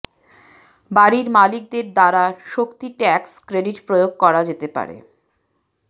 বাড়ির মালিকদের দ্বারা শক্তি ট্যাক্স ক্রেডিট প্রয়োগ করা যেতে পারে